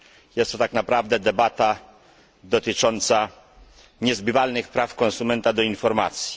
Jest to tak naprawdę debata dotycząca niezbywalnych praw konsumenta do informacji.